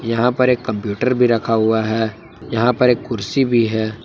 यहां पर एक कंप्यूटर भी रखा हुआ है यहां पर एक कुर्सी भी है।